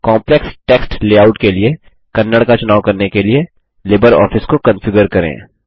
complex text layout के लिए कन्नड़ का चुनाव करने के लिए लिबरऑफिस को कंफिगर करें